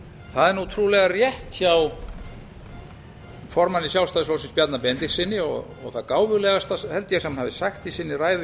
það er nú trúlega rétt hjá formanni sjálfstæðisflokksins bjarna benediktssyni og það gáfulegasta held ég sem hann hafi sagt í sinni ræðu hér áðan